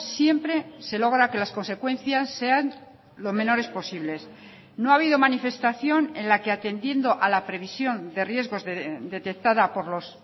siempre se logra que las consecuencias sean lo menores posibles no ha habido manifestación en la que atendiendo a la previsión de riesgos detectada por los